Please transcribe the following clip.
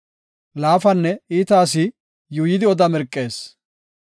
Laafanne iita asi yuuyidi oda mirqees;